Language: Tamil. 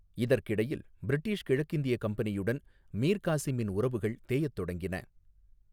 இதற்கிடையில், பிரிட்டிஷ் கிழக்கிந்திய கம்பெனியுடன் மீர் காசிமின் உறவுகள் தேயத் தொடங்கின.